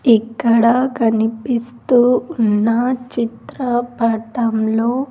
ఇక్కడ కనిపిస్తూ ఉన్న చిత్రపటంలో--